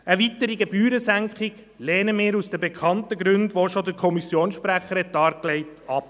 Eine weitere Gebührensenkung lehnen wir aus den bekannten Gründen, die der Kommissionsprecher schon dargelegt hat, ab.